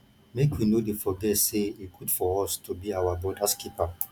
make we no dey forget say e good for us to be our brothers keeper